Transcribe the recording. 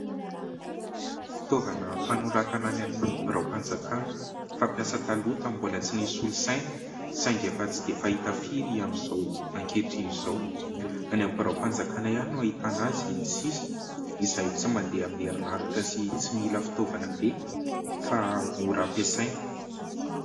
Fitaovana fanoratana any amin'ny biraom-panjakana. Fampiasa taloha ,mbola tsy nisy solosaina saingy efa tsy dia fahita firy amin'izao ankehitriny izao. Any amin'ny biraom-panjakana ihany no ahitana azy sisa ; izay tsy mandeha amin'ny erinaratra sy tsy mila fitaovana be fa mora ampiasaina.